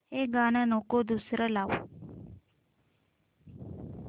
हे गाणं नको दुसरं लाव